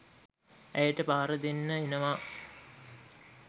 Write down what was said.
ඇයට පහර දෙන්න එනවා.